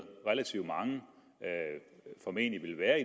relativt mange formentlig vil være